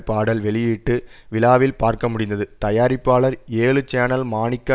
பாடல் வெளியீட்டு விழாவில் பார்க்கமுடிந்தது தயாரிப்பாளர் ஏழு சேனல் மாணிக்க